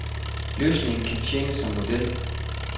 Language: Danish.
Løsningen kan tjene som model.